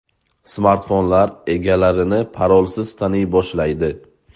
Smartfonlar egalarini parolsiz taniy boshlaydi.